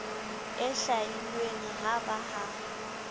e hlwailweng ha ba ha